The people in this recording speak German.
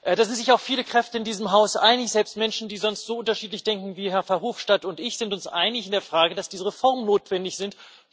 Da sind sich auch viele Kräfte in diesem Haus einig. Selbst Menschen, die sonst so unterschiedlich denken wie Herr Verhofstadt und ich, sind uns einig in der Frage, dass diese Reformen notwendig sind.